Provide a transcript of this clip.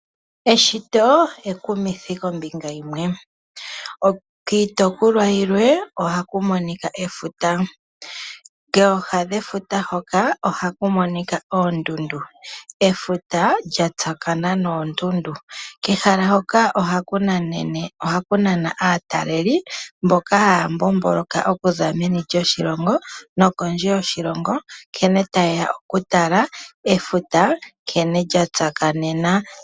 Eshito ekumithi kombinga yimwe. Kiitopolwa yimwe ohaku monika efuta. kooha dhefuta hoka ohaku monika oondundu. Efuta lya tsaakanena noondundu. Kehala hoka ohaku nana aatalelipo mboka haya mbomboloka okuza meni lyoshilongo noknondje yoshilongo nkene taye ya okutala efuta nkene lya tsakanena.